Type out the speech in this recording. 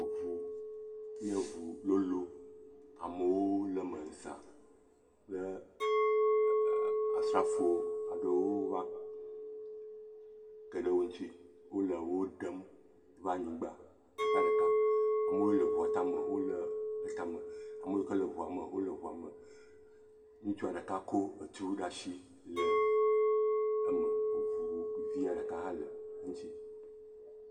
Eŋu nye ŋu lolo. Amewo le me za kple asrafo aɖewo va ke ɖe wo ŋuti. Wole wo ɖem va anyigba ɖeka ɖeka. Amewo le ŋua tame wole etame, ame yiwo le ŋua me, wole ŋua me. Ŋutsua ɖeka kɔ etu ɖe asi le me. Ŋu via ɖeka hã le ŋuti.